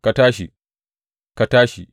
Ka tashi, ka tashi!